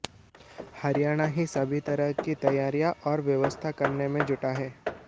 हरियाणा ही सभी तरह की तैयारियां और व्यवस्था करने में जुटा है